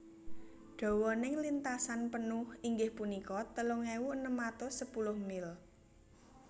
Dawaning lintasan penuh inggih punika telung ewu enem atus sepulu mil